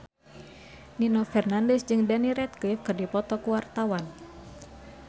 Nino Fernandez jeung Daniel Radcliffe keur dipoto ku wartawan